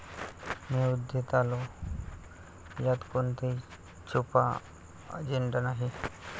मी अयोध्येत आलो यात कोणताही छुपा अजेंडा नाही